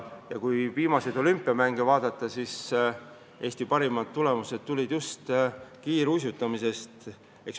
Ja kui viimaseid olümpiamänge vaadata, siis Eesti parimad tulemused tulid just kiiruisutamises.